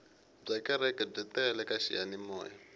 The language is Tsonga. bya kereke byi tele ka xiyanimoya